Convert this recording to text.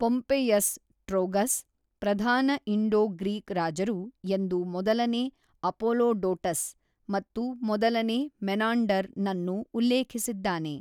Pompeius Trogus, ಪ್ರಧಾನ Indo-Greek ರಾಜರು ಎಂದು ಮೊದಲನೇ ಅಪೋಲೊಡೊಟಸ್ ಮತ್ತು ಮೊದಲನೇ ಮೆನಾಂಡರ್ ನನ್ನು ಉಲ್ಲೇಖಿಸಿದ್ದಾನೆ.